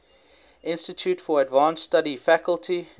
institute for advanced study faculty